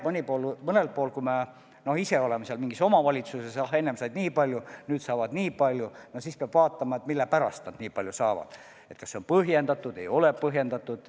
Kui me teame, et mingis omavalitsuses keegi sai enne nii palju, nüüd saab nii palju, siis peab vaatama, mille pärast nad nüüd nii palju saavad – kas see on põhjendatud või ei ole põhjendatud.